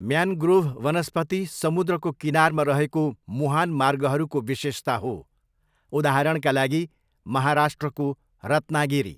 Mangrove वनस्पति समुद्रको किनारमा रहेको मुहान मार्गहरूको विशेषता हो, उदाहरणका लागि महाराष्ट्रको रत्नागिरी।